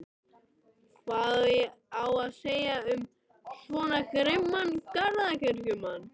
Hvað á að segja um svo grimman garðyrkjumann?